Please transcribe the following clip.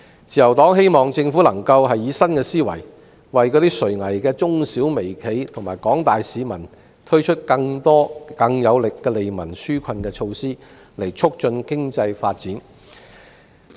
自由黨希望政府能夠以新思維，為垂危的中小微企和廣大市民推出更多更有力的利民紓困措施，以促進經濟發展。